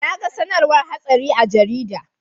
Naga sAnarwar hatsari a jarida